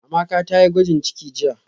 Amaka tayi gwajin ciki jiya